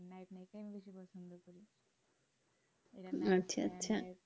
আচ্ছা আচ্ছা